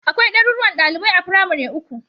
Akwai ɗaruruwan ɗalibai a firamare uku